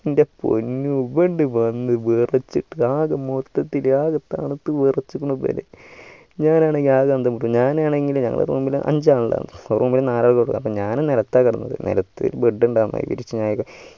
എൻ്റെ പൊന്നൂ ഇവനിണ്ട വന്നു വെറച്ചിട്ട് ആകെ മൊത്തത്തിൽ ആകെ തണുത്ത് വെറച്ചു ഇവന് ഞാൻ ആണെങ്കിൽ അകെ room ഇൽ അഞ്ചാളുണ്ടായിന് അപ്പൊ ഞാൻ നിലത്താണ് കിടന്നത് നിലത്തു bed ഉണ്ടാകും ഇരിക്കാനൊക്കെ